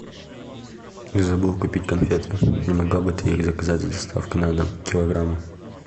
я забыл купить конфеты не могла бы ты их заказать с доставкой на дом килограмм